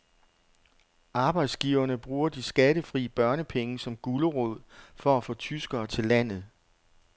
Arbejdsgiverne bruger de skattefri børnepenge som gulerod for at få tyskere til landet.